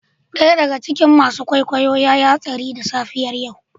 Daya daga cikin masu kwaikwayo ya yi hatsari da safiyar yau.